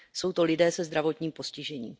Jsou to lidé se zdravotním postižením.